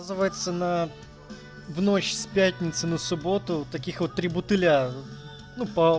оказывается на в ночь с пятницы на субботу таких вот три бутыля ну па